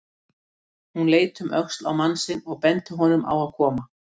Hún leit um öxl á mann sinn og benti honum á að koma.